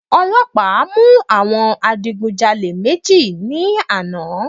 Ọlọ́pàá mú àwọn adigun jalè méjì ní àná.